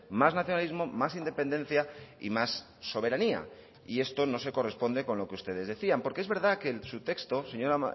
más nacionalismo más independencia y más soberanía y esto no se corresponde con lo que ustedes decían porque es verdad que en su texto señora